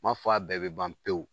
N ma fɔ a bɛɛ bɛ ban pewu